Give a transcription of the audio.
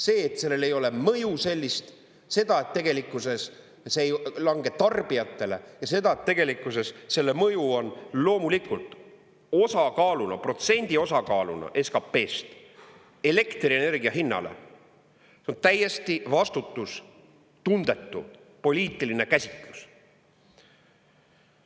See, et sellel ei ole mõju sellist, seda, et tegelikkuses see ei lange tarbijatele, ja seda, et tegelikkuses selle mõju on loomulikult osakaaluna, protsendi osakaaluna SKP-st elektrienergia hinnale, on täiesti vastutustundetu poliitiline käsitlus.